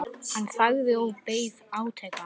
Hann þagði og beið átekta.